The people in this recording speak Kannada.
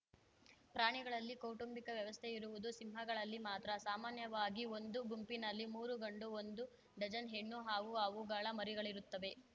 ಪ್ರಾಣಿಗಳಲ್ಲಿ ಕೌಟುಂಬಿಕ ವ್ಯವಸ್ಥೆ ಇರುವುದು ಸಿಂಹಗಳಲ್ಲಿ ಮಾತ್ರ ಸಾಮಾನ್ಯವಾಗಿ ಒಂದು ಗುಂಪಿನಲ್ಲಿ ಮೂರು ಗಂಡು ಒಂದು ಡಜನ್‌ ಹೆಣ್ಣು ಹಾಗೂ ಅವುಗಳ ಮರಿಗಳಿರುತ್ತವೆ